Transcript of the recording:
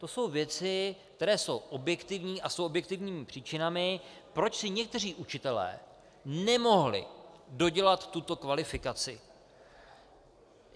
To jsou věci, které jsou objektivní a jsou objektivními příčinami, proč si někteří učitelé nemohli dodělat tuto kvalifikaci.